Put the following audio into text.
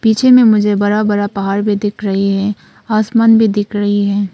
पीछे में मुझे बड़ा बड़ा पहाड़ भी दिख रही है आसमान भी दिख रही है।